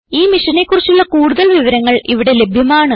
ഈ മിഷനെ കുറിച്ചുള്ള കുടുതൽ വിവരങ്ങൾ ഇവിടെ ലഭ്യമാണ്